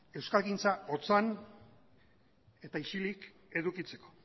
euskalgintza otzan eta isilik edukitzeko